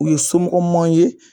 U ye somɔgɔmanw ye